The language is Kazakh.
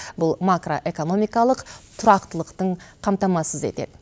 бұл макроэкономикалық тұрақтылықтың қамтамасыз етеді